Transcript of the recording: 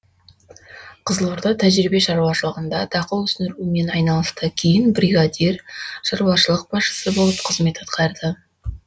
қызылорда тәжірибе шаруашылығында дақыл өсірумен айналысты кейін бригадир шаруашылық басшысы болып қызмет атқарды